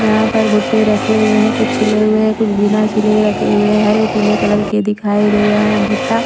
जहाँ पर भुट्टे रखे हुए हैं कुछ छिले हुए हैं कुछ बिना छिले रखे हुए हैं हरे पीले कलर के दिखाई दे रहे हैं भुट्टा--